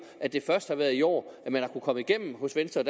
at det først er i år man har kunnet komme igennem hos venstre